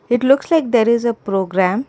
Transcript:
it looks like there is a program.